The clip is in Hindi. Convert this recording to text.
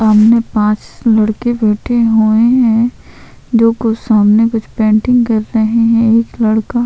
सामने पाँच लड़के बैठे हुए है जो कुछ सामने कुछ पेंटिंग कर रहे है एक लड़का--